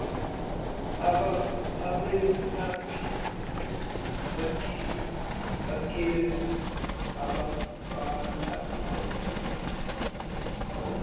abelaphi bikela abakwelaphayo